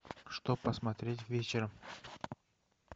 что посмотреть вечером